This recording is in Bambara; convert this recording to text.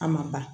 A ma ban